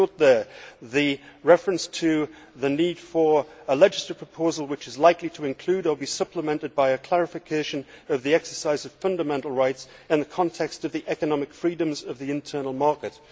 I note there the reference to the need for a legislative proposal which is likely to include or be supplemented by a clarification of the exercise of fundamental rights in the context of the economic freedoms of the internal market'.